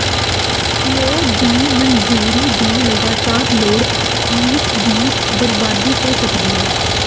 ਲੀਓ ਦੀ ਮਨਜ਼ੂਰੀ ਦੀ ਲਗਾਤਾਰ ਲੋੜ ਮੀਸ ਦੀ ਬਰਬਾਦੀ ਹੋ ਸਕਦੀ ਹੈ